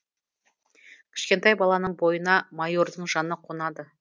кішкентай баланың бойына майордың жаны қонады